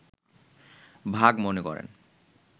ভাগ মনে করেন